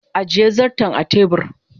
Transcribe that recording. ajiye zarton a tebur